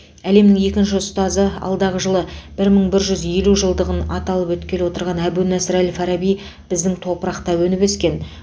әлемнің екінші ұстазы алдағы жылы бір мың бір жүз елу жылдығың аталып өткелі отырған әбунасыр әл фараби біздің топырақта өніп өскен